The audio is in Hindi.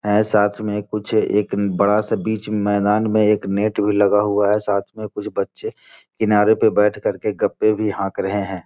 ये साथ में कुछ एक बड़ा सा बीच मैदान में एक नेट भी लगा हुआ है साथ में कुछ बच्चे किनारे पे बैठ कर के गप्पे भी हांक रहे हैं।